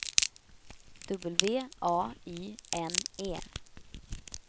W A Y N E